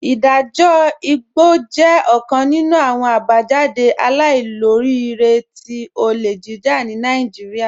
Idajọ igbọ jẹ ọkan nínu awọn abajáde àìlòríìrẹ̀ tí ọlé jíjà ni Naijíríà.